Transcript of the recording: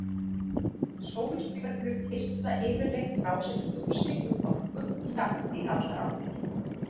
Sólstjörnur geisla yfirleitt frá sér ljósi og orku jafnt í allar áttir.